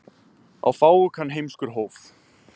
Á fáu kann heimskur hóf.